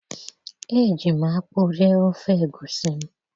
eji m akpu rie ofe egusi m.